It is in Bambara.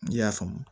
N'i y'a faamu